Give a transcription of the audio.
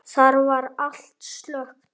Þar var allt slökkt.